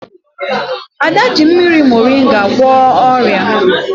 Ada ji mmiri morịnga gwọọ ọrịa